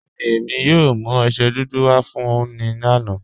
Bẹẹni, èmi yóò mú ọṣẹ dúdú wà fún ọ ni ọlá.